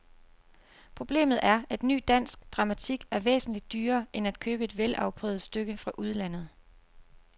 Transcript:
Problemet er, at ny dansk dramatik er væsentligt dyrere end at købe et velafprøvet stykke fra udlandet.